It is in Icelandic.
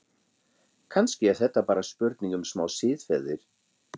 Kannski er þetta bara spurning um smá siðferði?